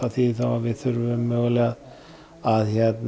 við þurfum mögulega að